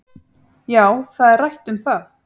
Já, það er rætt um það